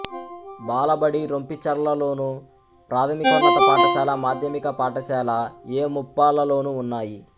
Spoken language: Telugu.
బాలబడి రొంపిచర్లలోను ప్రాథమికోన్నత పాఠశాల మాధ్యమిక పాఠశాల ఎ ముప్పాళ్ళలోనూ ఉన్నాయి